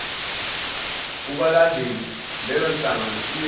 kubalandeli leyonhlangano iyowa